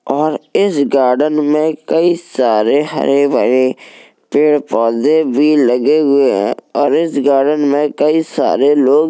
और इस गार्डन में कई सारे हरे भरे पेड़ पौधे भी लगे हुए है और इस गार्डन में कई सारे लोग --